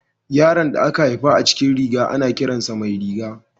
Yaron da aka haifa a cikin riga, ana kiran sa Mairiga.